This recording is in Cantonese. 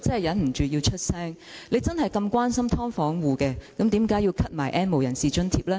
如果他真的關心"劏房戶"，為何要取消 "N 無人士"的津貼？